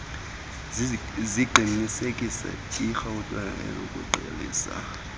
ziqinisekise iiarhente zokuqalisa